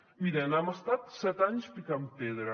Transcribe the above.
miren hem estat set anys picant pedra